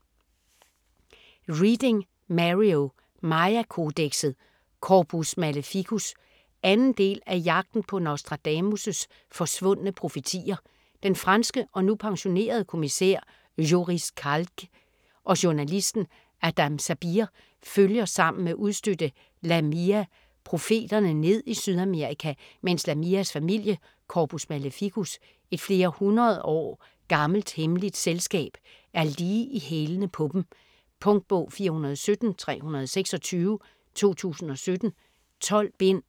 Reading, Mario: Maya-kodekset: Corpus Maleficus 2. del af Jagten på Nostradamus' forsvundne profetier. Den franske og nu pensionerede kommissær Joris Calque og journalisten Adam Sabir følger sammen med udstødte Lamia profetierne ned i Sydamerika mens Lamias familie, Corpus Maleficus - et flere hundrede års gammelt hemmeligt selskab, er lige i hælene på dem. Punktbog 417326 2017. 12 bind.